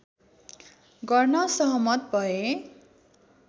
गर्न सहमत भए